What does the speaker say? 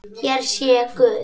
Hér sé Guð